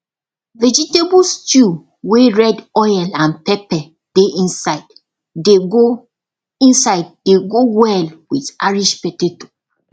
vegetable stew wey red oil and pepper dey inside dey go inside dey go well with irish potato